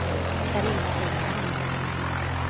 Carina Engman